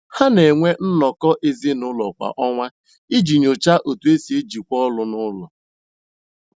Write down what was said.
Ha na-enwe nnọkọ ezinụlọ kwa ọnwa iji nyochaa otú e si ejikwa ọlụ n’ụlọ.